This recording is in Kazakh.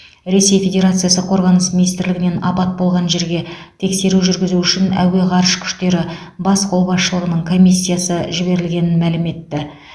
ресей федерациясы қорғаныс министрлігінен апат болған жерге тексеру жүргізу үшін әуе ғарыш күштері бас қолбасшылығының комиссиясы жіберілгенін мәлім етті